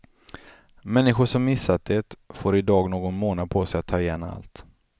Människor som missat det får idag någon månad på sig att att ta igen allt.